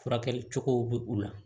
Furakɛli cogow bɛ u la